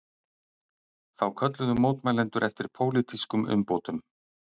Þá kölluðu mótmælendur eftir pólitískum umbótum